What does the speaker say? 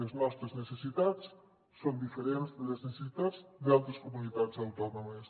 les nostres necessitats són diferents de les necessitats d’altres comunitats autònomes